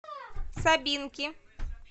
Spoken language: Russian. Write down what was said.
собинки